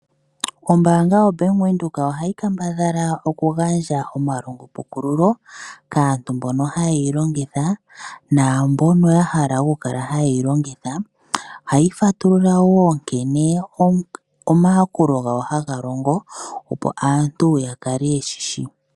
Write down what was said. Ombaanga yo Bank Windhoek oha yi kambadhala okugandja omapukululo kaantu mbono haye yi longitha, naambono wo ya hala okukala haye yi longitha. Ohayi fatulula wo nkene omayakulo gawo ha ga longo opo aantu ya kale ye shi shi.